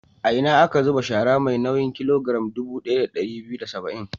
A ina aka zuba shara mai nauyin kilogiram dubu ɗaya da ɗari biyu da saba'in?